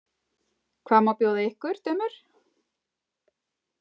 Hvað má bjóða ykkur, dömur?